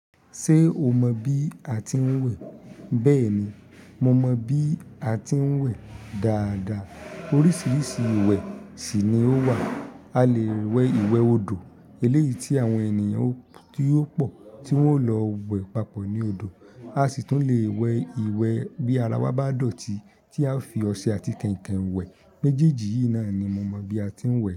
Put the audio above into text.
Ṣé o mọ bí a ti ń wẹ̀? Bẹ́ẹ̀ ni, mo mọ bí a ti ń wẹ̀ dáadáa. Oríṣiríṣi ìwẹ̀ sì ni ó wà. A lè wẹ̀ ìwẹ̀ odò, eléyìí tí àwọn ènìyàn tí ó pọ̀ tí wọ́n ó lọ wẹ̀ papọ̀ ní odò. A sì tún lè wẹ̀ ìwẹ̀ bí ara wa bá dọ̀tí tí a fi ọṣẹ àti kẹ̀ǹkẹ̀ wẹ̀. Méjèèjì yìí náà ni mo mọ bí a ti ń wẹ̀